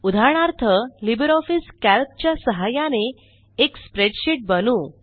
उदाहरणार्थ LibreOffice Calc च्या सहाय्याने एक स्प्रेडशीट बनवू